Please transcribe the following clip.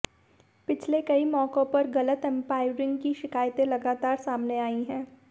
पिछले कई मौकों पर गलत अंपायरिंग की शिकायतें लगातार सामने आई हैं